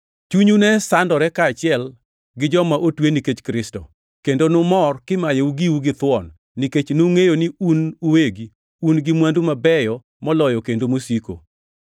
Chunyu ne sandore kaachiel gi joma otwe nikech Kristo, kendo numor kimayou giu githuon nikech nungʼeyo ni un uwegi un gi mwandu mabeyo moloyo kendo mosiko.